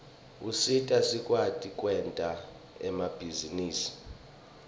usita sikwati kwenta emabhizinisi